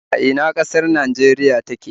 A ina ƙasar Najeriya take